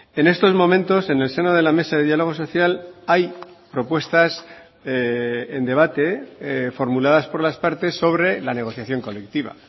en estos momentos en el seno de la mesa de diálogo social hay propuestas en debate formuladas por las partes sobre la negociación colectiva